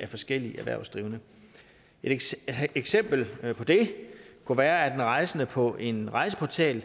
af forskellige erhvervsdrivende et eksempel på det kunne være en rejsende der på en rejseportal